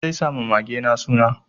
Zai sa ma magena suna.